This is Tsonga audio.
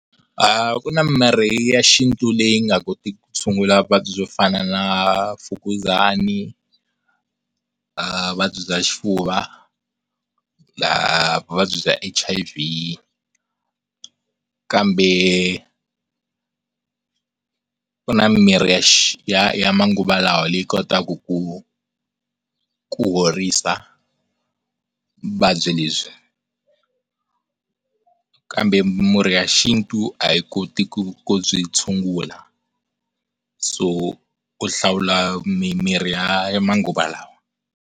A ku na mirhi ya xintu leyi nga kotiku ku tshungula vuvabyi byo fana na Mfukuzani, ah vuvabyi bya Xifuva, vuvabyi bya H_I_V. Kambe ku na mirhi ya manguva lawa leyi kotaku ku ku horisa vuvabyi lebyi, kambe murhi ya xintu a yi koti ku byi tshungula so ku hlawula mimirhi ya manguva lawa.